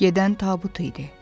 Gedən tabut idi.